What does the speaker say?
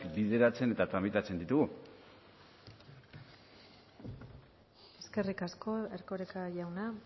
bideratzen eta tramitatzen ditugu eskerrik asko erkoreka jauna